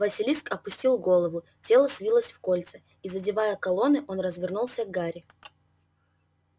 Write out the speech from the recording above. василиск опустил голову тело свилось в кольца и задевая колонны он развернулся к гарри